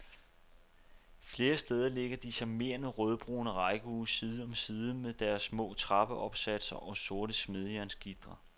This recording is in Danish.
Flere steder ligger de charmerende rødbrune rækkehuse side om side med deres små trappeopsatser og sorte smedejernsgitre.